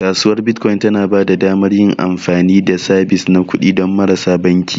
Kasuwar Bitcoin tana ba da damar yin amfani da sabis na kuɗi don marasa banki.